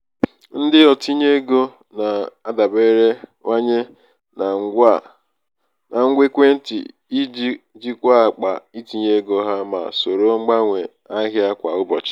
ndị otinye ego na-adaberewanye na ngwa ekwentị iji jikwaa akpa itinye ego ha ma soro mgbanwe ahịa kwa ụbọchị.